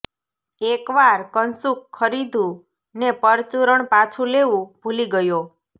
એક વાર કશુંક ખરીદ્યું ને પરચૂરણ પાછું લેવું ભૂલી ગયો